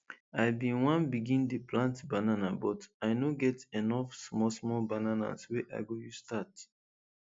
i bin one begin dey plant banana but i no get enough small small bananas wey i go use start